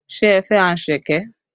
Ṣé ẹ fẹ́ anṣẹ̀kẹ́?